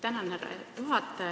Tänan, härra juhataja!